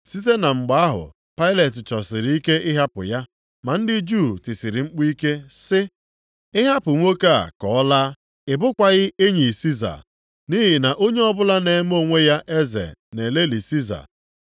Site na mgbe ahụ Pailet chọsịrị ike ịhapụ ya. Ma ndị Juu tisiri mkpu ike sị, “Ị hapụ nwoke a ka ọ laa, ị bụkwaghị enyi Siza. Nʼihi na onye ọbụla na-eme onwe ya eze na-elelị Siza.”